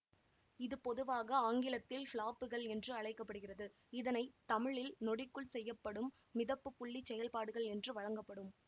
இது பொதுவாக ஆங்கிலத்தில் ஃப்ளாப்புகள் என்று அழைக்க படுகிறது இதனை தமிழில் நொடிக்குள் செய்யப்படும் மிதப்புப்புள்ளிச் செயல்பாடுகள் என்று வழங்கப்படும்